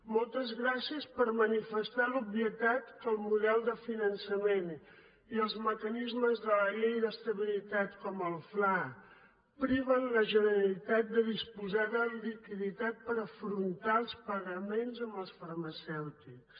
moltes gràcies per manifestar l’obvietat que el model de finançament i els mecanismes de la llei d’estabilitat com el fla priven la generalitat de disposar de liquiditat per afrontar els pagaments amb els farmacèutics